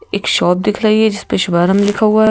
एक शॉप दिख रही है जिस पे शुभारंभ लिखा हुआ है।